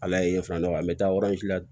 Ala ye filanan dɔ an bɛ taa la